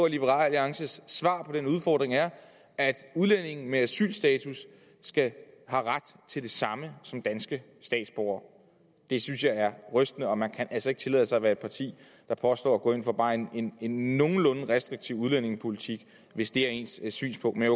at liberal alliances svar på den udfordring er at udlændinge med asylstatus har ret til det samme som danske statsborgere det synes jeg er rystende og man kan altså ikke tillade sig at være et parti der påstår at gå ind for bare en en nogenlunde restriktiv udlændingepolitik hvis det er ens synspunkt men